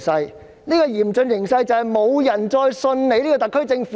香港現時的嚴峻形勢，便是沒有人相信特區政府。